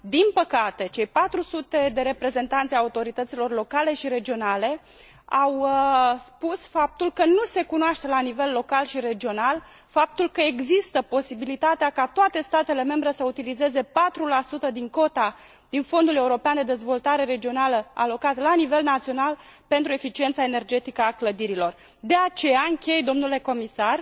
Din păcate, cei patru sute de reprezentanți ai autorităților locale și regionale au spus faptul că nu se cunoaște la nivel local și regional faptul că există posibilitatea ca toate statele membre să utilizeze 4 din cota din Fondul European de Dezvoltare Regională alocat la nivel național pentru eficiența energetică a clădirilor. De aceea închei, domnule comisar,